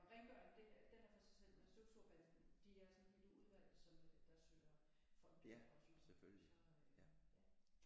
Men rengøring det er den er for sig selv men støvsugerbanden de er sådan et udvalg som der søger fonde og så ja